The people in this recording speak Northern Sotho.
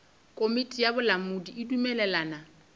komiti ya bolamodi e dumelelana